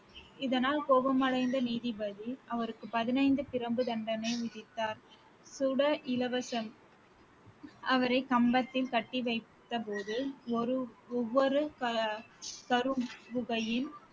இதனால் கோபமடைந்த நீதிபதி அவருக்கு பதினைந்து பிரம்பு தண்டனை விதித்தார் அவரை கம்பத்தில் கட்டி வைத்தபோது ஒரு ஒவ்வொரு க~